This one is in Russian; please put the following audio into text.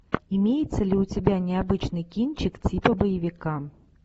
имеется ли у тебя необычный кинчик типа боевика